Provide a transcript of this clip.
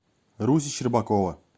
руси щербакова